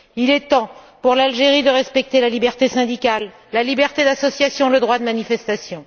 Il est temps pour ce pays de respecter la liberté syndicale, la liberté d'association et le droit de manifestation.